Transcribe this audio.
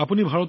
সেয়া দেখি ভাল পাওঁ